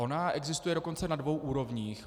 Ona existuje dokonce na dvou úrovních.